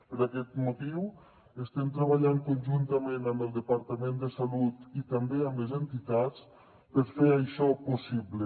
per aquest motiu estem treballant conjuntament amb el departament de salut i també amb les entitats per fer això possible